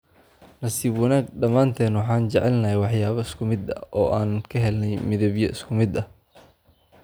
Nasiib wanaag dhammaanteen waxaan jecelnahay waxyaabo isku mid ah oo aan ka helnay midabyo isku mid ah.